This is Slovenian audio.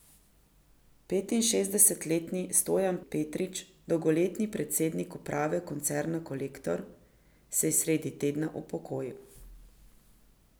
Petinšestdesetletni Stojan Petrič, dolgoletni predsednik uprave koncerna Kolektor, se je sredi tedna upokojil.